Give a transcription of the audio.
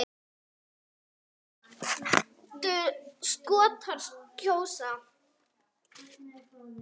Hvernig myndu Skotar kjósa?